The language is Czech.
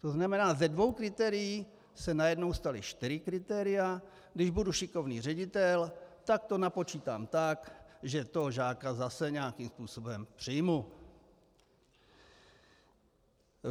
To znamená, ze dvou kritérií se najednou stala čtyři kritéria, když budu šikovný ředitel, tak to napočítám tak, že toho žáka zase nějakým způsobem přijmu.